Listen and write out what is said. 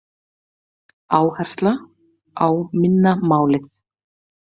Áhersla á minna málið